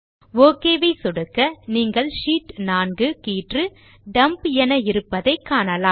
okay ஐ சொடுக்க நீங்கள் ஷீட் 4 கீற்று டம்ப் என இருப்பதை காணலாம்